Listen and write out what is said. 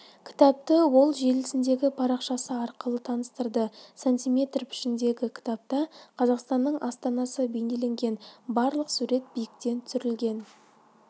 кітапты ол желісіндегі парақшасы арқылы таныстырды сантиметр пішіндегі кітапта қазақстанның астанасы бейнеленген барлық сурет биіктен түсірілген